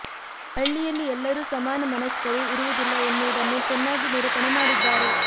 ಹಳ್ಳಿಯಲ್ಲಿ ಎಲ್ಲರೂ ಸಮಾನ ಮನಸ್ಕರು ಇರುವುದಿಲ್ಲ ಎನ್ನುವುದನ್ನು ಚೆನ್ನಾಗಿ ನಿರೂಪಣೆ ಮಾಡಿದ್ದಾರೆ